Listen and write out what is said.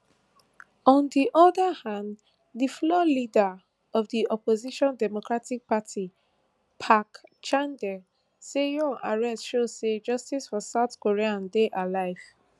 on di oda hand di floor leader of di opposition democratic party park chandae say yoon arrest show say justice for south korea dey alive